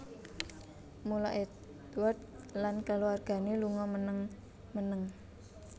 Mula Édward lan kulawargané lunga meneng meneng